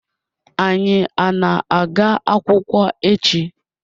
Anyi ana aga akwukwo echi?